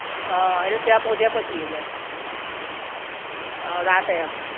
હઅ ઍટલે ત્યાં પોચયા પછી ઍટલે રાતે એમ